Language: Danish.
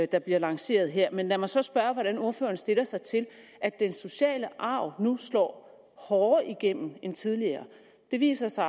der bliver lanceret her men lad mig så spørge hvordan ordføreren stiller sig til at den sociale arv nu slår hårdere igennem end tidligere det viser sig